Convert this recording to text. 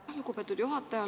Aitäh, lugupeetud juhataja!